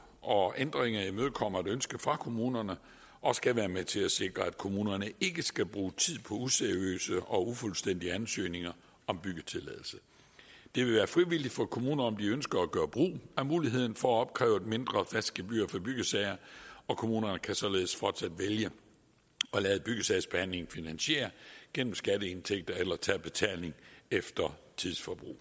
og ændringen imødekommer et ønske fra kommunerne og skal være med til at sikre at kommunerne ikke skal bruge tid på useriøse og ufuldstændige ansøgninger om byggetilladelse det vil være frivilligt for kommuner om de ønsker at gøre brug af muligheden for at opkræve et mindre fast gebyr for byggesager og kommunerne kan således fortsat vælge at lade byggesagsbehandlingen finansiere gennem skatteindtægter eller tage betaling efter tidsforbrug